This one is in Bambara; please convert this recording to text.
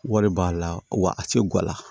Wari b'a la wa a tɛ gwala